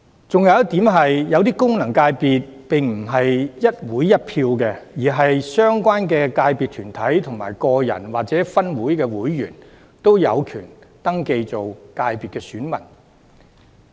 還有一點，某些功能界別並非一會一票，而是相關界別團體的個人或分會會員均有權登記為界別選民。